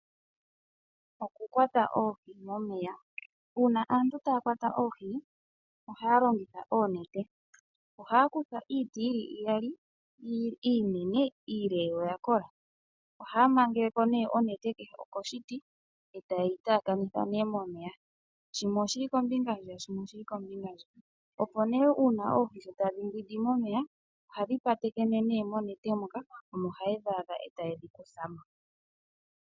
Okukwata oohi momeya. Uuna aantu taya kwata oohi ohaya longitha oonete. Ohaya kutha iiti yi li iyali iinene iile yo oya kola. Ohaya mangele ko nduno oonete kehe koshiti yo taye yi taakanitha momeya shimwe oshi li kombinga hwiya shimwe oshi li kombinga onkwawo, opo oohi shi tadhi mbwindi momeya ohadhi patekene monete. Omo nduno haye dhi adha e taye dhi kutha mo.